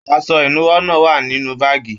Aṣọ ìnúwọ́ náà wà nínú báàgí.